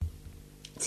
TV 2